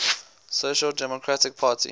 social democratic party